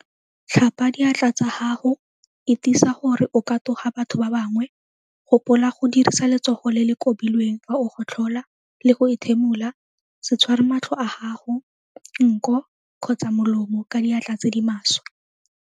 Tlhapa diatla tsa gago itisa gore o katoga batho ba bangwe gopola go dirisa letsogo le le kobilweng fa o gotlhola le go ethimola se tshware matlho a gago, nko kgotsa molomo ka diatla tse di maswe.